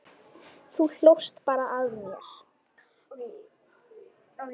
Þú hlóst bara að mér.